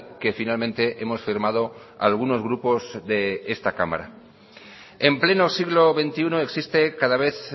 que finalmente hemos firmado algunos grupos de esta cámara en pleno siglo veintiuno existe cada vez